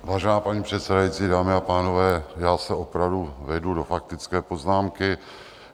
Vážená paní předsedající, dámy a pánové, já se opravdu vejdu do faktické poznámky.